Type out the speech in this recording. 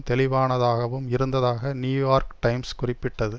தெளிவானதாகவும் இருந்ததாக New York Times குறிப்பிட்டது